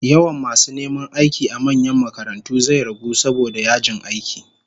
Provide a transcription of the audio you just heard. Yawan masu neman aiki a manyan makarantu zai ragu saboda yajin aiki